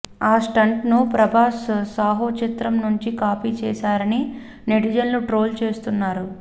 ఆ స్టంట్ ను ప్రభాస్ సాహూ చిత్రం నుంచి కాపీ చేసారని నెటిజన్లు ట్రోల్ చేస్తున్నారు